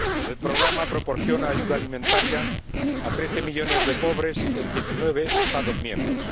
El programa proporciona ayuda alimentaria a 13 millones de pobres en 19 Estados miembros.